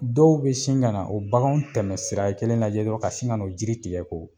Dɔw be sin ka na o bakanw tɛmɛ sira kelen lajɛ dɔrɔn ka sin ka n'o jiri tigɛ ko